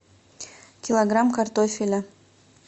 килограмм картофеля